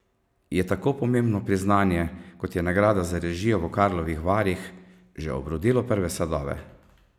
Je tako pomembno priznanje, kot je nagrada za režijo v Karlovih Varih, že obrodilo prve sadove?